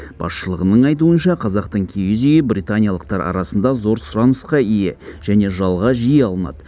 басшылығының айтуынша қазақтың киіз үйі британиялықтар арасында зор сұранысқа ие және жалға жиі алынады